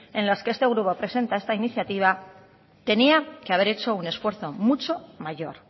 en los que este grupo presenta esta iniciativa tenía que haber hecho un esfuerzo mucho mayor